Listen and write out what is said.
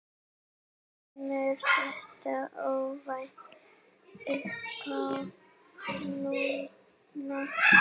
Kemur þetta óvænt uppá núna?